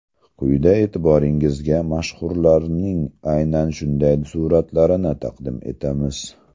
Quyida e’tiboringizga mashhurlarning aynan shunday suratlarini taqdim etamiz.